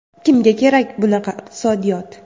Kimga kerak bunaqa iqtisodiyot?